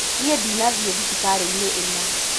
Niĩndĩnathi thibitarĩ-inĩĩno.